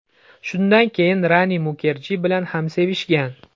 Shundan keyin Rani Mukerji bilan ham sevishgan.